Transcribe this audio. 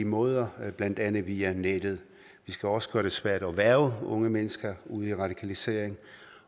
måder blandt andet via nettet vi skal også gøre det svært at hverve unge mennesker ud i radikalisering